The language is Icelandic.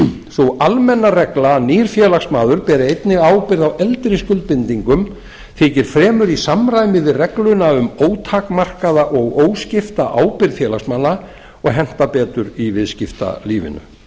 sú almenna regla að nýr félagsmaður beri einnig ábyrgð á eldri skuldbindingum þykir fremur í samræmi við regluna um ótakmarkaða og óskipta ábyrgð félagsmanna og henta betur í viðskiptalífinu